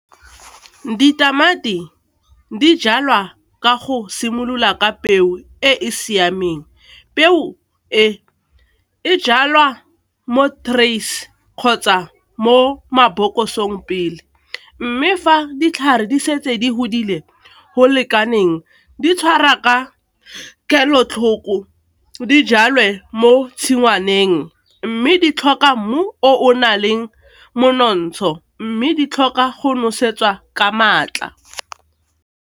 ditamati di jalwa ka go simolola ka peo e e siameng peo e e jalwa mo terrifs kgotsa mo maboko isong pele mme fa ditlhare di setse di godile go lekaneng di tshwara ka kelotlhoko di jale mo tshingwaneng mme di tlhoka mmu o na leng monontsha go mme di tlhoka go nosetsa ka maatla.